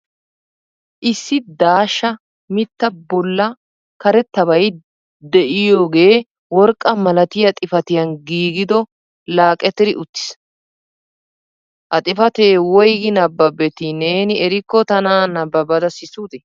Issi daashsha mitta bolla karettabay de'oyaagaea worqqa malatiya xifatiyan giigodo laqetri uttiis. Ha xifatee woyggi nabbabeti neeni erikko tana nabbabada sissute?